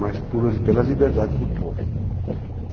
Mas pela liberdade do povo.